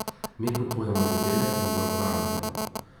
Mi kupujemo izdelek, mi ga uporabljamo.